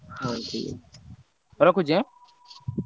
ହଉ ଠିକ ଅଛି। ରଖୁଛି ଏଁ?